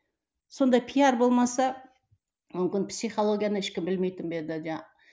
сондай пиар болмаса мүмкін психологияны ешкім білмейтін бе еді